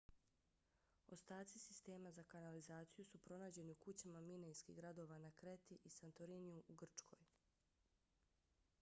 ostaci sistema za kanalizaciju su pronađeni u kućama minejskih gradova na kreti i santoriniju u grčkoj